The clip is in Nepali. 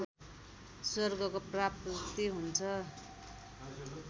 स्वर्गको प्राप्ति हुन्छ